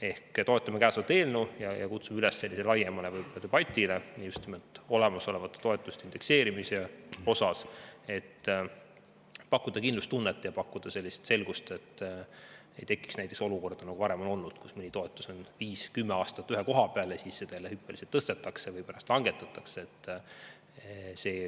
Ehk toetame kõnesolevat eelnõu ja kutsume üles laiemale debatile just nimelt olemasolevate toetuste indekseerimise üle, et pakkuda kindlustunnet ja selgust, et ei tekiks näiteks sellist olukorda, nagu varem on juba olnud, kus mõni toetus püsib viis või kümme aastat ühe koha peal ja siis seda jälle hüppeliselt tõstetakse või langetatakse.